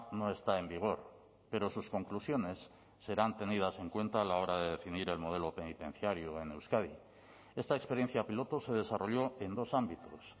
no está en vigor pero sus conclusiones serán tenidas en cuenta a la hora de definir el modelo penitenciario en euskadi esta experiencia piloto se desarrolló en dos ámbitos